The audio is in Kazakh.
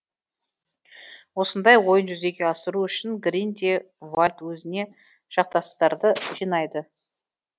осындай ойын жүзеге асыру үшін грин де вальт өзіне жақтастарды жинайды